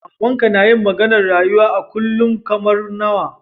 Mama'n ka nayi maganar rayuwa a kullum kamar nawa?